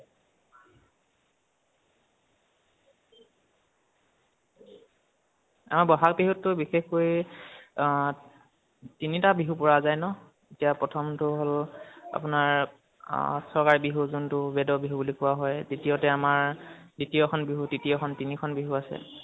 আমাৰ বহাগ বহুটো বিশেষকৈ অ তিনিটা বিহু পৰা যায় ন। এতিয়া প্ৰথমটো হল আপোনাৰ অ চগাই বিহু যোনটো বেদৰ বিহু বুলি কোৱা হয়, দ্বিতীয় তে আমাৰ দ্বিতীয় খন বিহু, তৃতীয় খন , তিনিখন বিহু আছে।